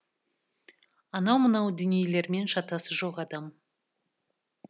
анау мынау дүниелермен шатасы жоқ адам